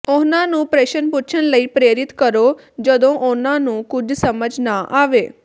ਉਹਨਾਂ ਨੂੰ ਪ੍ਰਸ਼ਨ ਪੁੱਛਣ ਲਈ ਪ੍ਰੇਰਿਤ ਕਰੋ ਜਦੋਂ ਉਹਨਾਂ ਨੂੰ ਕੁਝ ਸਮਝ ਨਾ ਆਵੇ